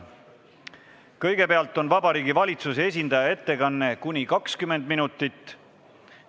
Kõigepealt on Vabariigi Valitsuse esindaja ettekanne kuni 20 minutit.